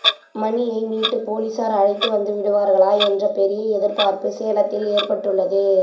மணியை மீட்டு போலீசார் அழைத்து வந்துவிடுவார்களா என்ற பெரிய எதிர்பார்ப்பு சேலத்தில் ஏற்பட்டுள்ளது